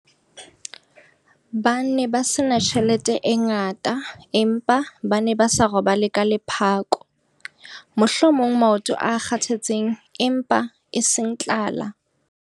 Ba ne ba se na tjhelete e ngata empa ba ne ba sa robale ka lephako. Mohlomong maoto a kgathetseng empa eseng tlala.